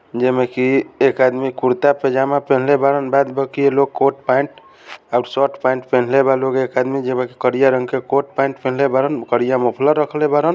जैमे की एक आदमी कुरता-पजामा पहिनले बाड़न बाद बाकी लोग कोट पैंट और शर्ट पैंट पहिनले बा लोग एक आदमी जेबाकि करीया रंग के कोट पैंट पहिनले बाड़न करिया मॉफलर रखले बाड़न।